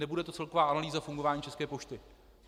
Nebude to celková analýza fungování České pošty.